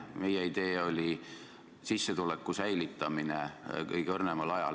Meie idee oli sissetuleku säilitamine kõige õrnemal ajal.